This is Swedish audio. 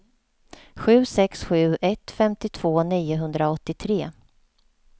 sju sex sju ett femtiotvå niohundraåttiotre